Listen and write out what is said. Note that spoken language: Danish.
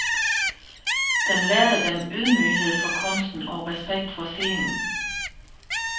Den lærte dem ydmyghed for kunsten og respekt for scenen.